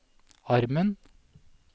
armen